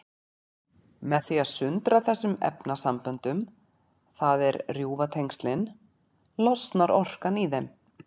Með því að sundra þessum efnasamböndum, það er rjúfa tengin, losnar orkan í þeim.